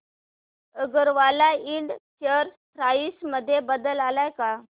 अगरवाल इंड share price मध्ये बदल आलाय का